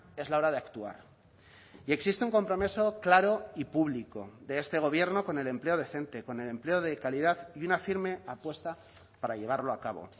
es la hora de actuar y existe un compromiso claro y público de este gobierno con el empleo decente con el empleo de calidad y una firme apuesta para llevarlo a cabo